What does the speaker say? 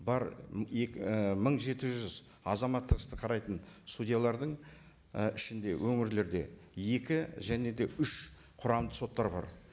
бар екі і мың жеті жүз азаматтық істі қарайтын судьялардың і ішінде өңірлерде екі және де үш кұрамды соттар бар